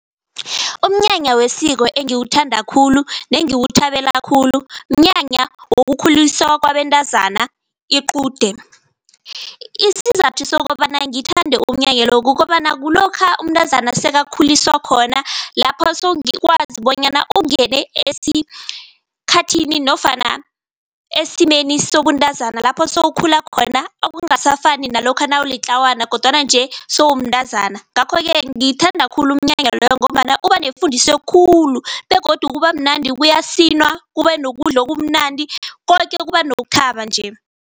Umnyanya wesiko engiwuthanda khulu nengiwuthabela khulu mnyanya wokukhuliswa kwabentazana iqude. Isizathu sokobana ngithande umnyanya lo kukobana kulokha umntazana sekakhuliswa khona lapho sowukwazi bonyana ungene esikhathini nofana esimeni sobuntazana lapho sowukhula khona okungasafani nalokha nawulitlawana kodwana nje sewumntazana. Ngakho-ke ngithanda khulu umnyanya loyo ngombana ubanefundiso khulu begodu kuba mnandi kuyasinwa kube nokudla okumnandi koke kuba nokuthaba nje.